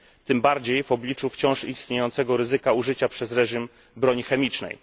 tym bardziej w obliczu wciąż istniejącego ryzyka użycia przez reżim broni chemicznej.